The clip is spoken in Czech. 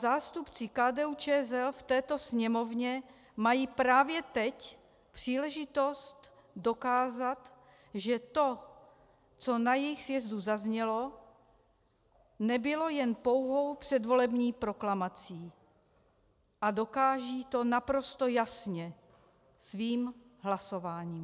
Zástupci KDU-ČSL v této Sněmovně mají právě teď příležitost dokázat, že to, co na jejich sjezdu zaznělo, nebylo jen pouhou předvolební proklamací, a dokážou to naprosto jasně svým hlasováním.